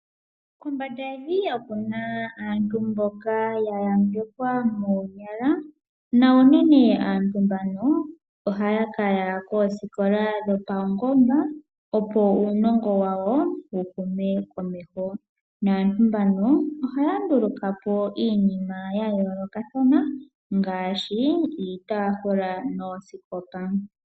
Kombanda yevi okuna aantu mboka ya yambekwa moonyala na unene aantu mbano ohaya kala koosikola dho paungoba opo uunongo wawo wu hume komeho naantu mbano ohaya ndulukapo iinima ya yoolokathana ngaashi iitafula noosikopa.